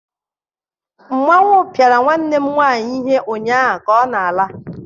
Mmanwu piara nwanne m nwanyị ihe ụnyahụ, ka ọ na-ala.